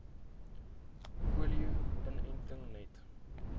polio inentings net